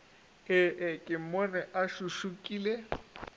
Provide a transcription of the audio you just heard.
ee ke mmone a šušukile